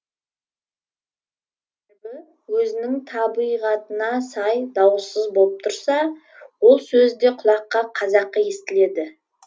өзінің табыйғатына сай дауыссыз болып тұрса ол сөз де құлаққа қазақы естіледі